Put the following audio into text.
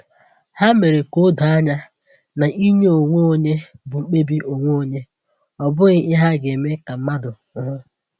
Ha mere ka o doo anya na inye onwe onye bụ mkpebi onwe onye, ọ bụghị ihe a ga-eme ka mmadụ hụ.